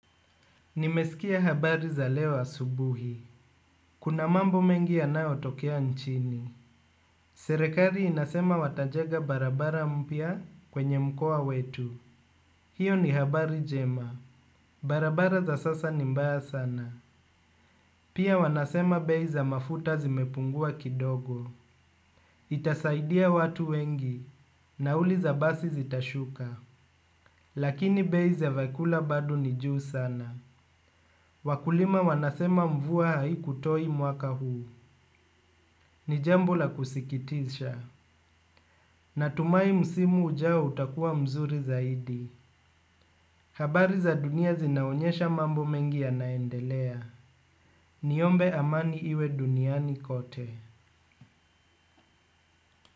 Nimesikia habari za leo asubuhi. Kuna mambo mengi yanayotokea nchini. Serikali inasema watajenga barabara mpya kwenye mkoa wetu. Hiyo ni habari jema. Barabara za sasa ni mbaya sana. Pia wanasema bei za mafuta zimepungua kidogo. Itasaidia watu wengi. Nauli za basi zitashuka. Lakini bei za vyakula bado ni juu sana. Wakulima wanasema mvua haikutoa mwaka huu. Ni jambo la kusikitisha. Natumai msimu ujao utakuwa mzuri zaidi. Habari za dunia zinaonyesha mambo mengi yanaendelea. Niombe amani iwe duniani kote.